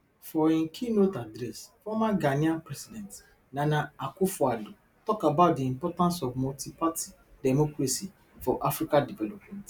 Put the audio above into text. for im keynote address former ghanaian president nana akufoaddo tok about di importance of multiparty democracy for africa development